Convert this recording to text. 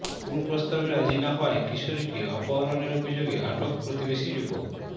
কুপ্রস্তাবে রাজি না হওয়ায় কিশোরীকে অপহরণের অভিযোগে আটক প্রতিবেশী যুবক